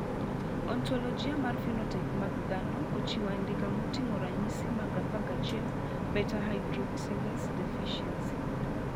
Ontologia mar phenotype mag dhano ochiwo andika moting`o ranyisi mag 11 beta hydroxylase deficiency.